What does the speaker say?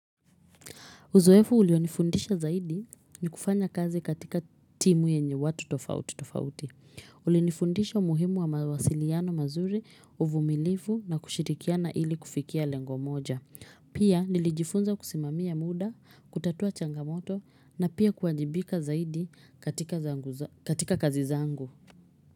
Uzoefu ulionifundisha zaidi ni kufanya kazi katika timu yenye watu tofauti tofauti. Ulinifundisha umuhimu wa mawasiliano mazuri uvumilifu na kushirikiana ili kufikia lengo moja. Pia nilijifunza kusimamia muda, kutatua changamoto na pia kuajibika zaidi katika zangu zo katika kazi zangu.